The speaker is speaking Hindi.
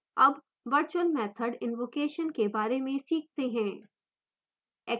अब virtual method invocation के बारे में सीखते हैं